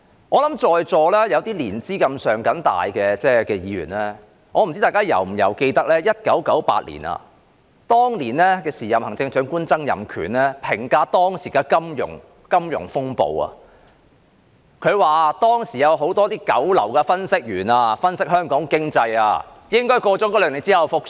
我不知道在座年資較深的議員是否記得 ，1998 年時任財政司司長曾蔭權評價當時的金融風暴時，曾指斥當時有很多九流分析員，而他的分析是香港經濟兩年後便會復蘇。